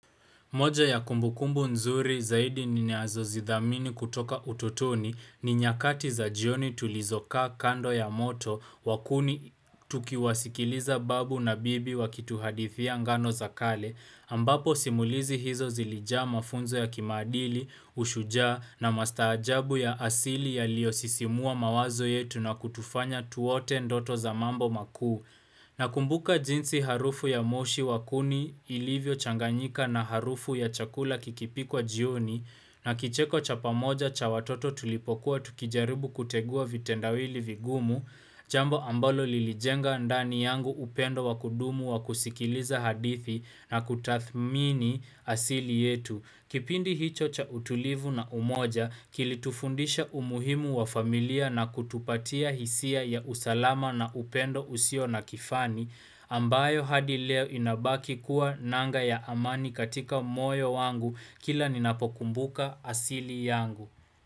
Moja ya kumbukumbu nzuri zaidi ninazo zidhamini kutoka utotoni ni nyakati za jioni tulizoka kando ya moto wakuni tukiwasikiliza babu na bibi wakituhadithia ngano za kale. Ambapo simulizi hizo zilijaa mafunzo ya kimadili, ushujia na mastajabu ya asili ya liyo sisimua mawazo yetu na kutufanya tuote ndoto za mambo makuu. Na kumbuka jinsi harufu ya moshi wakuni ilivyo changanyika na harufu ya chakula kikipikwa jioni na kicheko chapamoja cha watoto tulipokuwa tukijaribu kutegua vitendawili vigumu, jambo ambalo lilijenga ndani yangu upendo wakudumu wakusikiliza hadithi na kutathmini asili yetu. Kipindi hicho cha utulivu na umoja, kilitufundisha umuhimu wa familia na kutupatia hisia ya usalama na upendo usio na kifani, ambayo hadi leo inabaki kuwa nanga ya amani katika moyo wangu kila ninapokumbuka asili yangu.